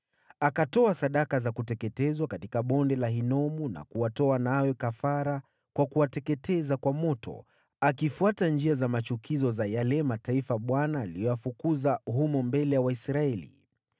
Akatoa sadaka za kuteketezwa katika Bonde la Ben-Hinomu, na kuwatoa wanawe kafara kwa kuwateketeza kwa moto, akifuata njia za machukizo za yale mataifa Bwana aliyoyafukuza humo mbele ya Waisraeli.